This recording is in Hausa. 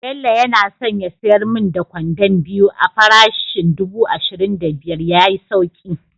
Bello yana son ya sayar min da kwandon biyu a parishin dubu ashirin da biyar ya yi sauki